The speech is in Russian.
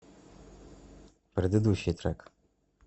предыдущий трек